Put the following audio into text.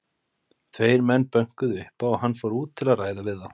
Tveir menn bönkuðu upp á og hann fór út til að ræða við þá.